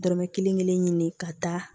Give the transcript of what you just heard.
Dɔrɔmɛ kelen kelen ɲini ka taa